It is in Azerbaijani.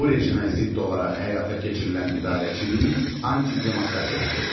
Bu rejimə zidd olaraq həyata keçirilən idarəçilik antidemokratikdir.